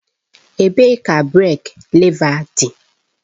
Ebee ka breek lèva dị.